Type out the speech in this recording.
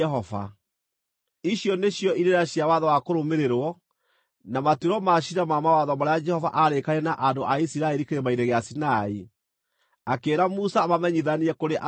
Icio nĩcio irĩra cia watho wa kũrũmĩrĩrwo, na matuĩro ma ciira na mawatho marĩa Jehova aarĩkanĩire na andũ a Isiraeli Kĩrĩma-inĩ gĩa Sinai, akĩĩra Musa amamenyithanie kũrĩ andũ a Isiraeli.